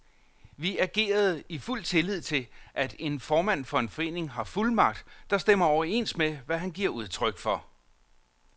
Vi agerede i fuld tillid til, at en formand for en forening har fuldmagt, der stemmer overens med, hvad han giver udtryk for.